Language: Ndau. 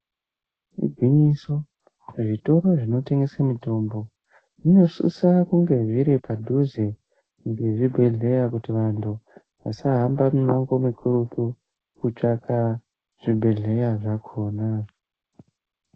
Igwinyiso zvitoro zvinotengese mitombo zvinosise kunge zviri padhuze nezvibhedhlera kuti vantu vasahambe mimango mikurutu kutsvaka zvibhedhleya zvakhona.